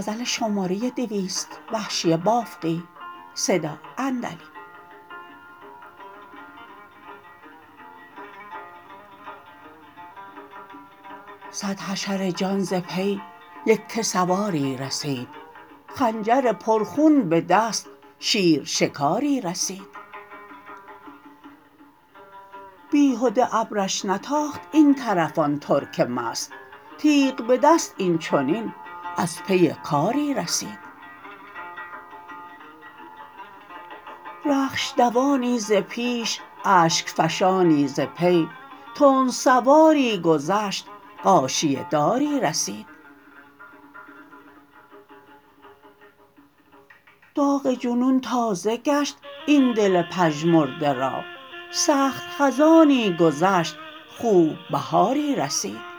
سد حشر جان ز پی یکه سواری رسید خنجر پرخون به دست شیر شکاری رسید بیهده ابرش نتاخت این طرف آن ترک مست تیغ به دست این چنین از پی کاری رسید رخش دوانی ز پیش اشک فشانی ز پی تند سواری گذشت غاشیه داری رسید داغ جنون تازه گشت این دل پژمرده را سخت خزانی گذشت خوب بهاری رسید